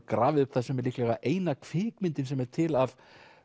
grafið upp það sem er líklega eina kvikmyndin sem er til af